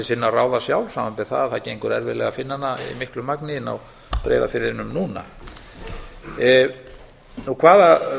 sinna ráða sjálf samanber það að það gengur erfiðlega að finna hana í miklu magni inni á breiðafirðinum núna hvaða